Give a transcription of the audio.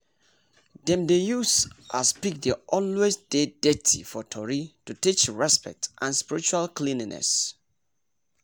dem dey use as pig dey always dey dirty for tory to teach respect and spiritual cleanliness